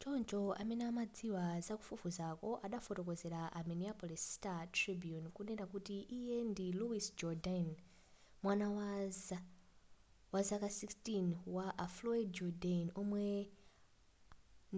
choncho amene amadziwa zakufufuzaku adafotokozera a minneapolis star-tribune kunena kuti iye ndi louis jourdain mwana wazaka 16 wa a floyd jourdain omwe